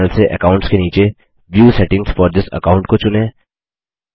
दायें पैनल से अकाउंट्स के नीचे view settings for this account को चुनें